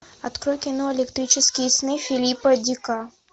открой кино электрические сны филипа дика